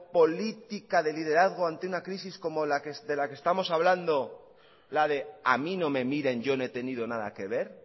política de liderazgo ante una crisis como de la que estamos hablando la de a mí no me miren yo no he tenido nada que ver